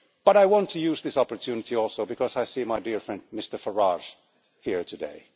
But I want to use this opportunity also because I see my dear friend Mr Farage here today.